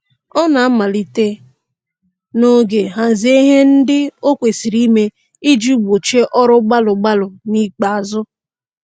Ọ na-amalite n'oge hazie ihe ndị o kwesịrị ime iji gbochie ọrụ gbalụ gbalụ n'ikpeazụ